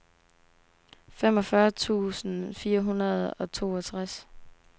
femogfyrre tusind fire hundrede og toogtres